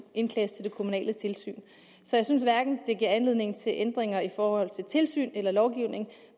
indklages til det kommunale tilsyn så jeg synes hverken det giver anledning til ændringer i forhold til tilsyn eller lovgivning